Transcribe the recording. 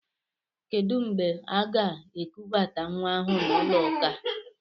Kedụ mgbe aga-ekubata nwa ahụ n'ụlọ ụka?